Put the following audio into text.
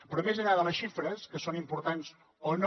però més enllà de les xifres que són importants o no